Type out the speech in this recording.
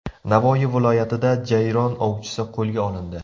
Navoiy viloyatida jayron ovchisi qo‘lga olindi.